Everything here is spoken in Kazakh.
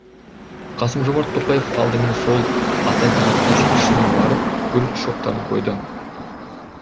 қасым жомарт тоқаев алдымен сол ата бейіт ескерткішіне барып гүл шоқтарын қойды